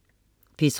P3: